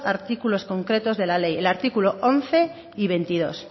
artículos concretos de la ley el artículo once y veintidós